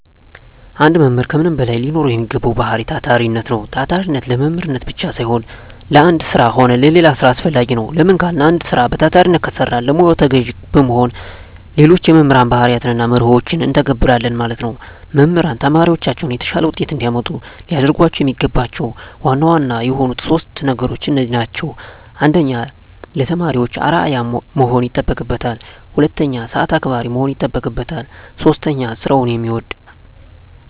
አንድ መምህር ከምንም በላይ ሊኖረዉ የሚገባዉ ባህሪይ ታታሪነት ነዉ። ታታሪነት ለመምህርነት ብቻም ሳይሆን ለአንድ ስራ ሆነ ለሌላ ስራ አስፈላጊ ነዉ። ለምን ካልን አንድ ስራ በታታሪነት ከሰራን ለሙያዉ ተገዢ በመሆን ሌሎች የመምህር ባህርያትንና መርሆችን እንተገብረለን ማለት ነዉ። መምህራን ተማሪዎቻቸውን የተሻለ ዉጤት እንዲያመጡ ሊያደርጓቸዉ የሚገባቸዉ ዋና ዋና የሆኑት 3 ነገሮች እነዚህ ናቸዉ። 1. ለተማሪዎች አርዕያ መሆን ይጠበቅበታል። 2. ሰአት አክባሪ መሆን ይጠበቅበታል። 3. ስራዉን የሚወድ።